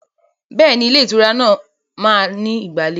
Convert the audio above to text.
Bẹ́ẹ̀ni, Ilé ìtura náà máa ní ìgbàlejò.